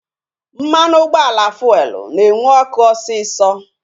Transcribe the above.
Mmanụ ụgbọala fuelu na-enwu ọkụ osisọ